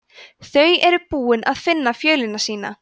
þau eru búin að finna fjölina sína